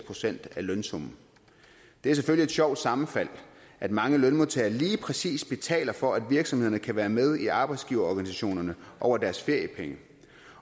procent af lønsummen det er selvfølgelig et sjovt sammenfald at mange lønmodtagere lige præcis betaler for at virksomhederne kan være med i arbejdsgiverorganisationerne over deres feriepenge